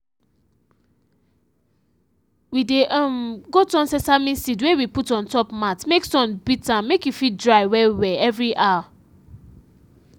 we dey um go turn sesame seed wey we put ontop mat make sun beat am make e fiit dry well well every hour